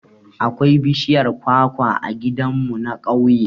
Akwai bishiyar kwakwa a gidan mu na ƙauye